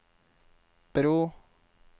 bro